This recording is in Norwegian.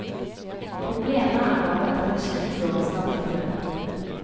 Problemet er bare at denne kirkegården snart er full.